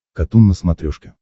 катун на смотрешке